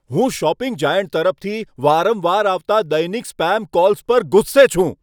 હું shopping giant તરફથી વારંવાર આવતા દૈનિક સ્પેમ કોલ્સ પર ગુસ્સે છું.